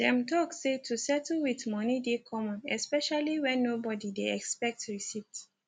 dem tok say to settle with moni dey common especially when nobody dey expect receipt